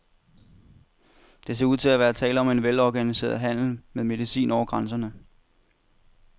Der ser ud til at være tale om velorganiseret handel med medicin over grænserne.